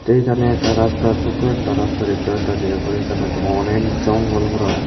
এইখানে একটা রাস্তা ছোটো একটা রাস্তা দেখতে পারতাছি এবং এইখানেতো অনেক জঙ্গল ভরা।